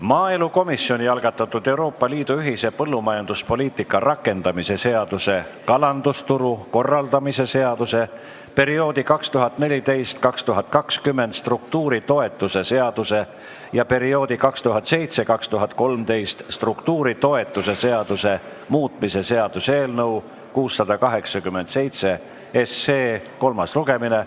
Maaelukomisjoni algatatud Euroopa Liidu ühise põllumajanduspoliitika rakendamise seaduse, kalandusturu korraldamise seaduse, perioodi 2014–2020 struktuuritoetuse seaduse ja perioodi 2007–2013 struktuuritoetuse seaduse muutmise seaduse eelnõu 687 kolmas lugemine.